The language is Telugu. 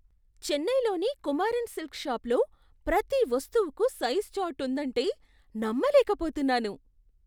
చెన్నైలోని కుమారన్ సిల్క్స్ షాపులో ప్రతి వస్తువుకు సైజు చార్ట్ ఉందంటే నమ్మలేకపోతున్నాను.